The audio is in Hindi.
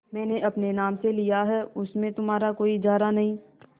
मैंने अपने नाम से लिया है उसमें तुम्हारा कोई इजारा नहीं